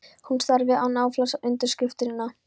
Hún starði án afláts á undirskriftina.